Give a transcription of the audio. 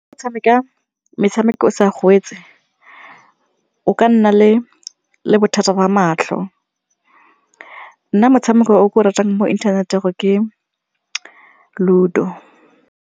Go tshameka metshameko o sa o ka nna le bothata ba matlho, nna motshameko o ke o ratang mo inthaneteng ke Ludo.